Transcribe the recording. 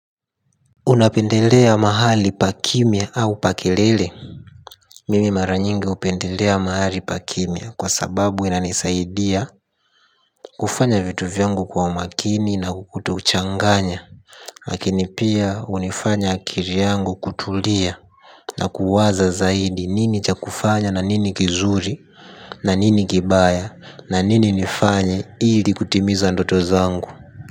Unapendelea mahali pa kimya au pa kelele? Mimi maranyingi upendelea mahali pa kimya kwa sababu inanisaidia. Kufanya vitu vyangu kwa makini na kutochanganya. Lakini pia unifanya akili yangu kutulia. Na kuwaza zaidi nini cha kufanya na nini kizuri na nini kibaya. Na nini nifanye hili kutimiza ndoto zangu.